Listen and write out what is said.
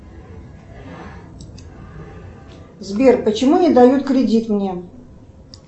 сбер почему не дают кредит мне